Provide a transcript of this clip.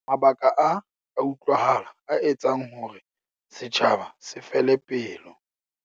Mabaka a a utlwahala a etsang hore setjhaba se fele pelo.